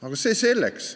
Aga see selleks.